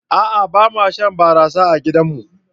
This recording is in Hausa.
A'a bama shan barasa a gidar mu.